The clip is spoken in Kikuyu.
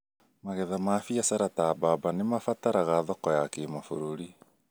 Magetha ma biacara ta bamba nĩmabataraga thoko ya kĩmabũrũri